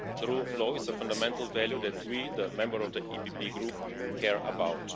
The rule of law is a fundamental value that we, the members of the PPE Group, care about.